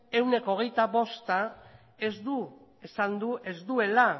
ehuneko hogeita bosta esan du ez duela